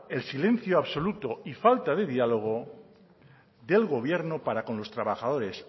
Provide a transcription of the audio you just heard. el silencio absoluto y falta de diálogo del gobierno para con los trabajadores